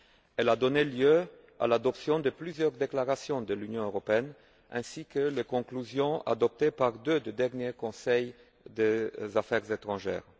Elle a donné lieu à l'adoption de plusieurs déclarations de l'Union européenne ainsi qu'à des conclusions approuvées par deux des derniers Conseils Affaires étrangères.